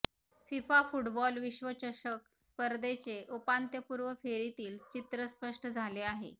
FIFA football विश्वचषक स्पर्धेचे उपांत्यपूर्व फेरीतील चित्र स्पष्ट झाले आहे